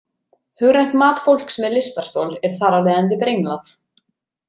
Hugrænt mat fólks með lystarstol er þar af leiðandi brenglað.